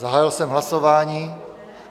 Zahájil jsem hlasování.